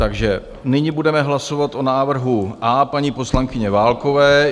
Takže nyní budeme hlasovat o návrhu A paní poslankyně Válkové.